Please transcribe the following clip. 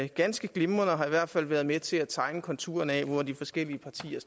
ganske glimrende og i hvert fald været med til at tegne konturerne af hvor de forskellige partier